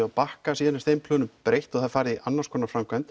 á Bakka síðan er þeim plönum breytt og farið í annars konar framkvæmd